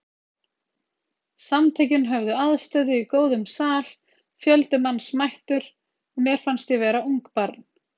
Samtökin höfðu aðstöðu í góðum sal, fjöldi manns mættur og mér fannst ég vera ungbarn.